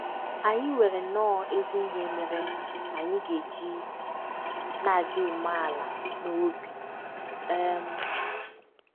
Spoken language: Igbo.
Anyị nwere nnọọ ezi ihe mere anyị ga - eji na - adị umeala n’obi! um